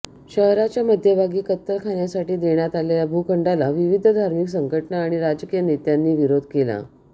शहराच्या मध्यभागी कत्तलखान्यासाठी देण्यात आलेल्या भूखंडाला विविध धार्मिक संघटना आणि राजकीय नेत्यांनी विरोध केला